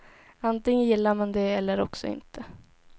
Antingen gillar man det eller också inte.